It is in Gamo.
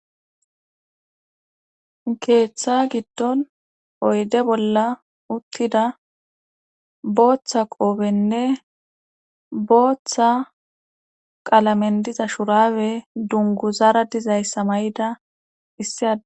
Keeththa giddon oyde bolla uttida booththa qoofenne booththa qalamen diza shurbe dunguzara dizayssa ma'ida issi ade